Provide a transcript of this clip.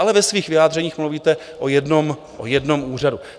Ale ve svých vyjádřeních mluvíte o jednom úřadu.